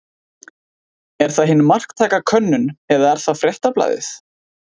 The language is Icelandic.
Er það hin marktæka könnun eða er það Fréttablaðið?